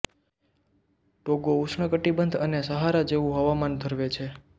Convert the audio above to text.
ટોગો ઉષ્ણકટિબંધ અને સહારા જેવું હવામાન ધરવે છે